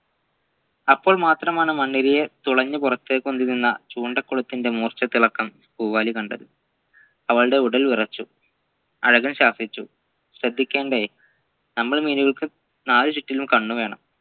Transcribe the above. അപ്പോൾ മാത്രമാണ് മണ്ണിരയെ തുളഞ്ഞു പുറത്തേക് ഉന്തിനിന്നചൂണ്ടകുളത്തിൻെറ മൂർച്ഛത്തിളക്കം പൂവാലി കണ്ടത് അവളുടെ ഉടൽ വിറച്ചു അലകൾ ശാസിച്ചു ശ്രദിക്കേണ്ടേ നമ്മൾ മീനുകൾക്ക് നാലുചുറ്റിലും കണ്ണു വേണം